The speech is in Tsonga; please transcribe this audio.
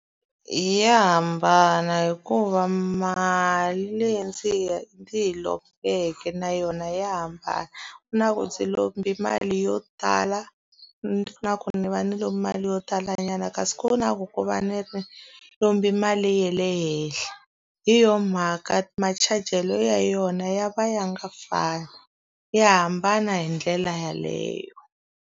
Ya hambana hikuva mali leyi ndzi yi ndzi yi lombeke na yona ya hambana. Ku na ku ndzi lombe mali yo tala, ku ni va ni lombe mali yo talanyana, kasi ku na ku ku va ni lombe mali ya le henhla. Hi yona mhaka machajelo ya yona ya va ya nga fani, ya hambana hi ndlela yeleyo.